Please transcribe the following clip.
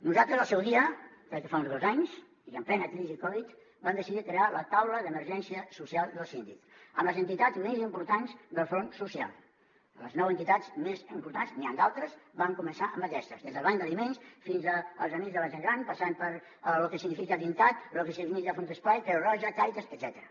nosaltres al seu dia crec que fa uns dos anys i en plena crisi covid vam decidir crear la taula d’emergència social del síndic amb les entitats més importants del front social les nou entitats més importants n’hi han d’altres vam començar amb aquestes des del banc d’aliments fins als amics de la gent gran passant per lo que significa dincat lo que significa fundesplai creu roja càritas etcètera